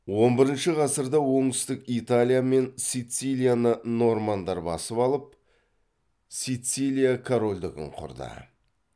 он бірінші ғасырда оңтүстік италиямен сицилияны нормандар басып алып сицилия корольдігін құрды